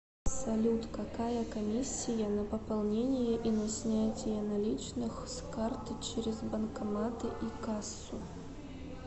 салют какая комиссия на пополнение и на снятие наличных с карты через банкоматы и кассу